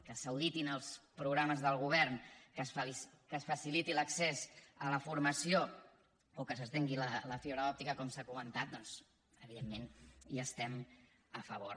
que s’auditin els programes del govern que es faciliti l’accés a la formació o que s’estengui la fibra òptica com s’ha comentat doncs evidentment hi estem a favor